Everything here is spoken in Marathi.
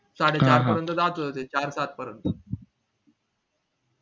साडे सहा पर्यंत जात होत ते साडे सात पर्यंत